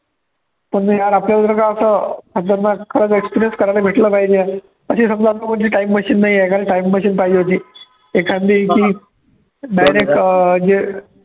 पण यार आपल्याबाजूला काय होतं, खतरनाक खरचं experience करायला भेटलं पाहिजे अशी समजा कोणती time machine नाहीये, एखादी time machine पाहिजे होती, एखादी ती direct जे